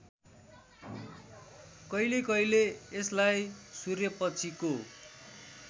कहिलेकहिले यसलाई सूर्यपछिको